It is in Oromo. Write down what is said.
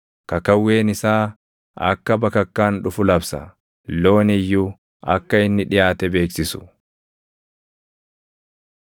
Kakawween isaa akka bakakkaan dhufu labsa; looni iyyuu akka inni dhiʼaate beeksisu.